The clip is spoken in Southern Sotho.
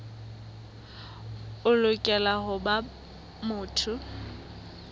o lokela ho ba motho